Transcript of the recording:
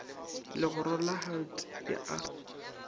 legoro la hlt e a